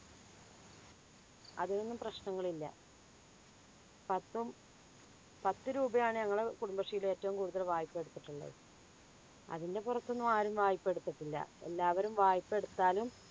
അതിൽ ഒന്നും പ്രശ്നങ്ങളില്ല. പത്തും പത്ത് രൂപയാണ് ഞങ്ങളുടെ കുടുംബശ്രീയില് ഏറ്റവും കൂടുതല് വായ്‌പ എടുത്തിട്ടുള്ളത്. അതിൻ്റെ പുറത്തൊന്നും ആരും വായ്‌പ എടുത്തിട്ടില്ല. എല്ലാവരും വായ്‌പ എടുത്താലും